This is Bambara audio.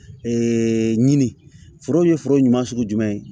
ɲini foro in ye foro ɲuman sugu jumɛn ye